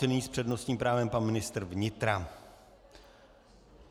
Nyní s přednostním právem pan ministr vnitra.